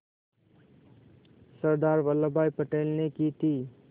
सरदार Vallabhbhai Patel ने की थी